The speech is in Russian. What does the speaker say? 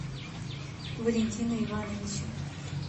валентина ивановича